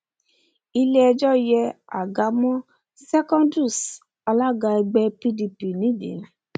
ilé ẹjọ yé àga mọ secondus alága ẹgbẹ pdp nídìí